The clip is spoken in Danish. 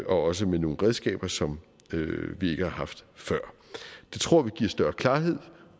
også med nogle redskaber som vi ikke har haft før det tror vi giver større klarhed